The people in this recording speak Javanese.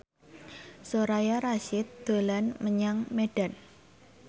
Soraya Rasyid dolan menyang Medan